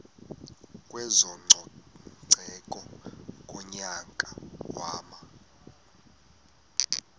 kwezococeko ngonyaka wama